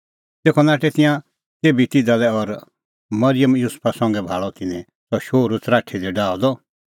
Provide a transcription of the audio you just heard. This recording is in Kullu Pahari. तेखअ नाठै तिंयां तेभी तिधा लै और मरिअम युसुफा संघै भाल़अ तिन्नैं सह शोहरू च़राठी दी डाहअ द